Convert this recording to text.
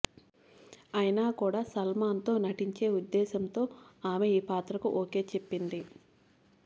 అయినా కూడా సల్మాన్తో నటించే ఉద్దేశ్యంతో ఆమె ఈ పాత్రకు ఓకే చెప్పింది